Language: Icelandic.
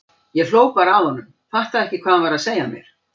Ég hló bara að honum, fattaði ekki hvað hann var að segja mér.